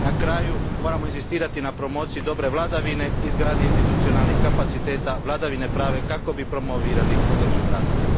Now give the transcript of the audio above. Na kraju, moramo inzistirati na promociji dobre vladavine, izgradnji institucionalnih kapaciteta i vladavine prava kako bi promovirali održiv razvoj.